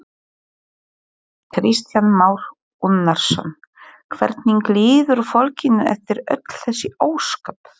Kristján Már Unnarsson: Hvernig líður fólkinu eftir öll þessi ósköp?